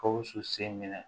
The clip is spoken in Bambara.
Gawusu sen minɛ